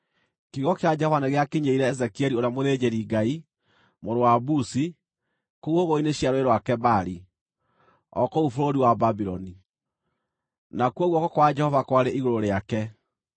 kiugo kĩa Jehova nĩgĩakinyĩrĩire Ezekieli ũrĩa mũthĩnjĩri-Ngai, mũrũ wa Buzi, kũu hũgũrũrũ-inĩ cia Rũũĩ rwa Kebari, o kũu bũrũri wa Babuloni. Nakuo guoko kwa Jehova kwarĩ igũrũ rĩake.